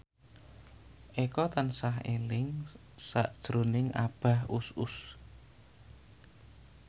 Eko tansah eling sakjroning Abah Us Us